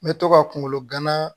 N bɛ to ka kunkolo gana